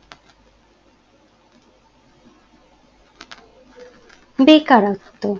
বেকারত্ব